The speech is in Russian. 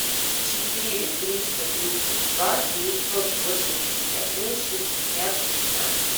четыре триста тридцать два девятьсот восемьдесят один шестьдесят пятнадцать